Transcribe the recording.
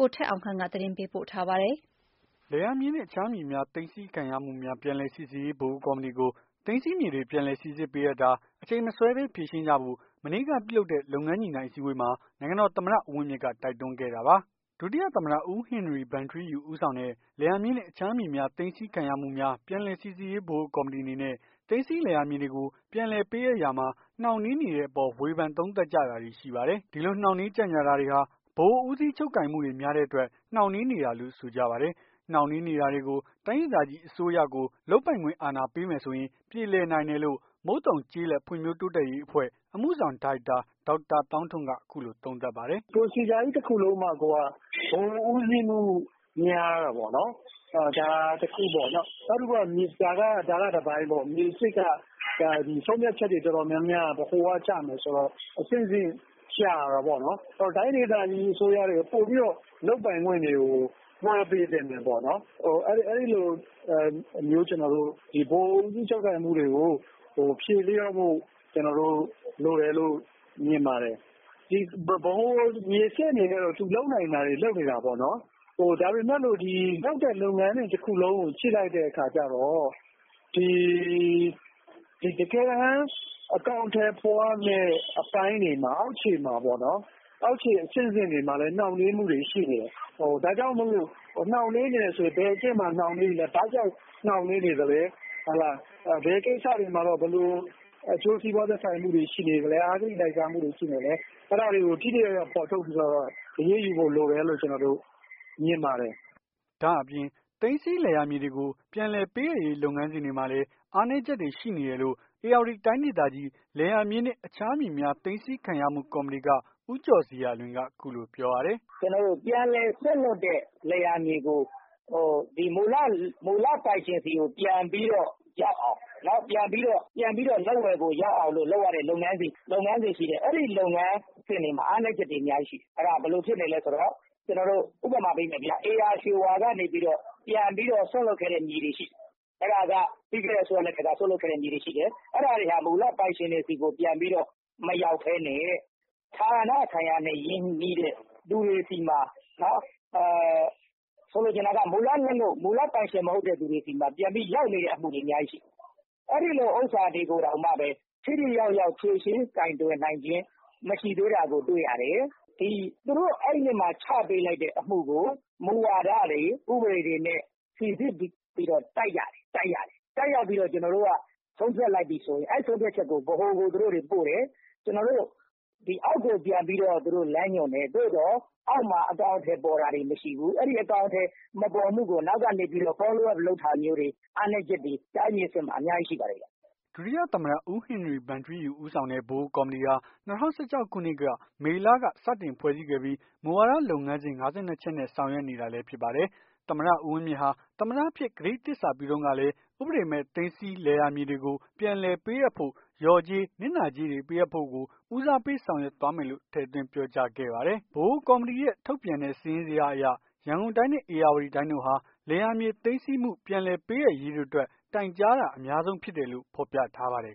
ိုထက်အောင်ခန့်က သတင်းပေးပို့ထားပါတယ်။ လယ်ယာမြေနှင့် အခြားမြေများ သိမ်းဆည်း ခြင်းခံရမှုများ ပြန်လည် စီစစ်ရေး ဗဟိုကော်မတီကို သိမ်းဆည်းမြေတွေ ပြန်လည်စိစစ်ပေးအပ်တာ အချိန်မဆွဲဘဲ ဖြေရှင်းကြဖို့ မနေ့က ပြုလုပ်တဲ့ လုပ်ငန်းညှိနှိုင်းအစည်းအဝေး နိုင်ငံတော်သမ္မတ ဦးဝင်းမြင့်ကတိုက်တွန်းခဲ့တာပါ။ ဒုတိယ သမ္မတ ဦးဟင်နရီဗန်ထီးယူ ဦးဆောင်တဲ့ လယ်ယာမြေနှင့် အခြားမြေများ သိမ်းဆည်းခံရမှုများ ပြန်လည် စိစစ်ရေး ဗဟိုကော်မတီအနေနဲ့ သိမ်းဆည်း လည်ယာမြေတွေကို ပြန်လည် ပေးအပ်ရာမှာ နှောင့်နှေးနေတဲ့ အပေါ် ဝေဖန်သုံးသပ်ကြတာတွေ ရှိပါတယ်။ ဒီလိုနှောင့်နှေးကြန့်ကြာတာ တွေရှိနေပြီး ဗဟိုဦးစီးချုပ်ကိုင်မှုတွေများနေတဲ့အတွက် နှောင့်နှေး နေတာလို့ ဆိုကြပါတယ်။နှောင့်နှေးတာတွေကို တိုင်းဒေသကြီး အစိုးရကို လုပ်ပိုင်ခွင့်အာဏာပေးမယ်ဆိုရင် ပြေလည်နိုင်တယ်လို့ မုတ်သုန်ကျေးလက် ဖွံ့ဖြိုးတိုးတက်ရေးအဖွဲ့ အမှုဆောင် ဒါရိုက်တာ ဒေါက်တာ သောင်းထွန်းက အခုလို သုံးသပ်ပါတယ်။ "ပရိုစီဂျာကြီး တခုလုံးမှာကိုက ဗဟိုဦးစီးမှု များတာပေါ့နော်။ ဒါကတခုပေါ့ နောက်တခု ဒါက တပိုင်းပေါ့။ မြေစစ်က ဆုံးဖြတ်ချက် တော်တော်များများက ဗဟိုကျမယ် ဆိုတော့အဆင့်ဆင့်ကြာတာပေါ့နော်။ တိုင်းဒေသကြီး အစိုးရတွေကို ပိုပြီးတော့ လုပ်ပိုင်ခွင့်တွေ ကို လွှဲပေးသင့်တယ်ပေါ့နော်။ အဲ့လိုမျိုး ကျွန်တော်တို့ ဗဟိုဦးစီးချုပ်ကိုင်မှုတွေ ကို ဖြေလျော့ဖို့ လိုတယ်လို့ မြင်ပါတယ်။ ဗဟိုမြေစစ်အနေနဲ့ သူလုပ်နိုင်တာတွေလုပ်နေတာပေါ့နော်။ လုပ်တဲ့လုပ်ငန်းစဉ် တခုလုံးကို ကြည့်လိုက်တဲ့ အခါ ကျတော့ ဒီတကယ်တမ်း အကောင်အထည်ဖော်ရမယ့် အပိုင်းတွေမှာ အောက်ခြေမှာပေါ့နော် အောက်ခြေ အဆင့်ဆင့်တွေမှာလည်း နှောင့်နှေးမှုတွေရှိနေတယ်။ ဒါကြောင့်မို့လို့ နှောင့်နှေးနေတယ်ဆိုရင် ဘယ်အချက် တွေမှာ နှောင့်နှေးနေလည်း ဘာကြောင့်နှောင့်နှေးနေလည်း ဘယ်ကိစ္စတွေမှာတော့ ဘယ်လိုအကျိုးစီးပွား သက်ဆိုင်မှုတွေရှိနေသလည်း အဂတိလိုက်စားမှုတွေရှိနေလည်း အဲ့ဒါတွေကို ထိထိရောက်ရောက် အရေးယူဖို့ လိုတယ်လို့ ကျွန်တော်တို့ မြင်ပါတယ်။" ဒါ့အပြင် သိမ်းဆည်းလယ်ယာမြေတွေကို ပြန်လည်ပေးအပ်ရေး လုပ်ငန်းစဉ်တွေမှာလည်း အားနည်း ချက် တွေရှိနေတယ်လို့ ဧရာဝတီတိုင်းဒေသကြီး လယ်ယာမြေနှင့် အခြားမြေများ သိမ်းဆည်းခံရမှု ကော်မတီက ဦးကျော်ဇေယျာလွင်က အခုလိုပြောပါတယ်။ " ကျွန်တော်တို့ပြန်လည်စွန့်လွှတ်တဲ့ လယ်ယာမြေကို ဒီမူလပိုင်ရှင်ဆီကို ပြန်ပြီးတော့ ရောက်အောင် ပြန်ပြီးတော့ လက်ဝယ်ကိုရောက်အောင် လုပ်ရတဲ့ လုပ်ငန်းစဉ်ရှိတယ်။ အဲ့လုပ်ငန်းစဉ်တွေမှာ အားနည်း ချက်တွေအများကြီးရှိတယ်။ အဲ့ဒါက ဘယ်လိုဖြစ်နေ လည်းဆိုတော့ ကျွန်တော်တို့ ဥပမာပေးမယ်ဗျာ ဧရာရွှေဝါ ကနေပြီးတော့ ပြန်ပြီး စွန့်လွှတ်ခဲ့တဲ့ မြေတွေရှိတယ်။ အဲ့ဒါက ပြီးခဲ့တဲ့အစိုးရလက်ထက်က စွန့်လွှတ်ခဲ့တဲ့ မြေတွေရှိတယ်။ အဲ့ဒါတွေက မူလပိုင်ရှင်တွေဆီကိုမရောက်ဘဲနဲ့ ဌာနဆိုင်ရာနဲ့ ရင်းနှီးတဲ့သူတွေဆီမှာ ဆိုလိုချင် တာက မူလပိုင်ရှင် မဟုတ်တဲ့သူတွေဆီမှာ ရောက်နေတဲ့ အမှုတွေ အများကြီးရှိတယ်။ အဲ့ဒါတွေကိုတောင် ထိထိ ရောက်ရောက် ကိုင်တွယ် ဖြေရှင်းပေးနိုင်ခြင်းမရှိသေးတာကို တွေ့ရတယ်။ ဒီသူတို့သူတို့ချပေးလိုက်တဲ့အမှုကို မူဝါဒတွေ ဥပဒေတွေနဲ့ စိစစ်ပြီးတော့ တိုက်ရတယ်။ တိုက်ရပြီးတော့ ဆုံးဖြတ် လိုက်ပြီဆိုရင် အဲ့ဆုံးဖြတ်ချက်ကို ဗဟိုကို သူတို့တွေပို့တယ်။ ကျွန်တော်တို့အောက်ကို ပြန်ပြီးလမ်းညွှန်တယ် သို့သော် အောက်မှာ အကောင် အထည် ပေါ်တာတွေမရှိဘူး။ အဲ့အကောင်အထည်မပေါ်မှုကို အနောက်ကိနေ Follow Up လုပ်တာမျိုးတွေ အားနည်းချက်တွေ တိုင်းတွေအဆင့်မှာ အများကြီးရှိတယ်။" ဒုတိယသမ္မတ ဦးဟင်နရီဗန်ထီးယူ ဦးဆောင်တဲ့ ဗဟိုကော်မတီဟာ ၂၀၁၆ ခုနှစ်က မေလက စတင်ဖွဲ့စည်းခဲ့ပြီး မူဝါဒလုပ်ငန်းစဉ် ၅၂ ချက်နဲ့ ဆောင်ရွက်နေတာလည်းဖြစ်ပါတယ်။ သမ္မတ ဦးဝင်းမြင့်ဟာ သမ္မတ အဖြစ် ကတိသစ္စာ ပြုတုန်းကလည်း ဥပဒေမဲ့ သိမ်းဆည်း လယ်ယာမြေတွေကို ပြန်လည်ပေးအပ်ဖို့ လျော်ကြေး နစ်နာကြေးတွေ ပေးအပ်ဖို့ကို ဦးစားပေး ဆောင်ရွက်သွားမယ်လို့ ထည့်သွင်း ပြောကြားခဲ့ပါတယ်။ ဗဟိုကော်မတီရဲ့ ထုတ်ပြန်တဲ့ စာရင်းစာဇယားအရ ရန်ကုန်တိုင်းနဲ့ ဧရာဝတီတိုင်းတို့ဟာ လယ်ယာမြေ သိမ်းဆည်းမှု ပြန်လည်ပေးအပ်ရေးတို့အတွက် တိုင်ကြားတာ အများဆုံးဖြစ် တယ်လို့ ဖော်ပြထားပါတယ်